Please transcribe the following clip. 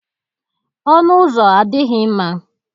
Ọnụ ụzọ adịghị mma